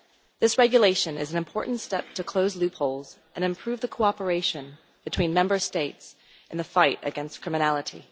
This regulation is an important step to close loopholes and improve cooperation between Member States in the fight against criminality.